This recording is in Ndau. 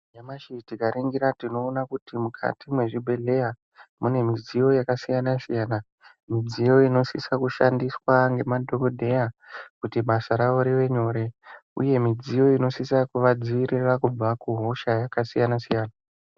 Nyamashi tikaringira tinoona kuti mukati mwezvibhedhlera mune midziyo yakasiyana siyana midziyo inosisa kushandiswa ngemadhokodheya kuti basa ravo rive nyore uye midziyo inosisa kuvadzivirira kubva kuhosha yakasiyana siyana.